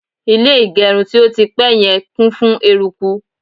ilé igerun ti o ti pẹ yen kún fún eruku